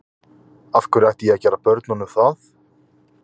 Af hverju ætti ég að gera börnunum það?